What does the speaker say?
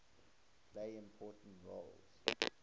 played important roles